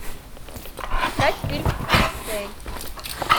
искать фильм аксель